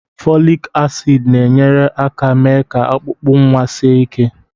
Folic acid na-enyere aka mee ka ọkpụkpụ nwa sie ike